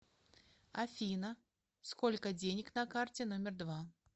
афина сколько денег на карте номер два